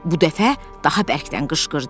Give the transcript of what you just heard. Bu dəfə daha bərkdən qışqırdı.